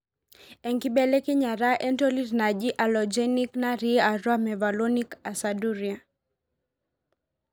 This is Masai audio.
Enkibelekenyata entolit naaji Allogeneic naati atua mevalonic aciduria.